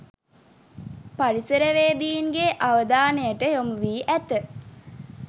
පරිසරවේදීන්ගේ අවධානයට යොමු වී ඇත